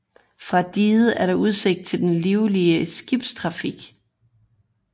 Fra diget er der udsigt til den livlige skibstrafik